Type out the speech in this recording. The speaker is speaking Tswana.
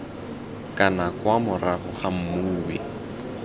kana kwa morago ga mmui